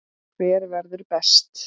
Hver verður best?